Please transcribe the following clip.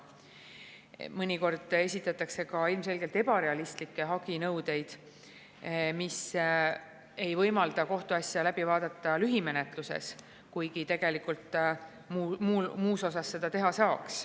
Mõnikord esitatakse ka ilmselgelt ebarealistlikke haginõudeid, mis ei võimalda kohtuasja läbi vaadata lühimenetluses, kuigi tegelikult muus osas seda teha saaks.